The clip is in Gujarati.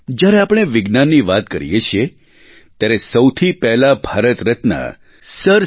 જ્યારે આપણે વિજ્ઞાનની વાત કરીએ છીએ ત્યારે સૌથી પહેલા ભારતરત્ન સર સી